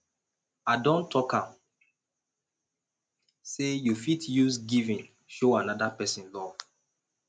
i don tok am sey you fit use giving show anoda pesin love